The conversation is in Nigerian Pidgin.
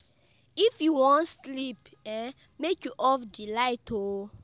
If you wan sleep um, make you off di light o.